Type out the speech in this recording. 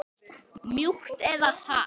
Mjúkt eða hart?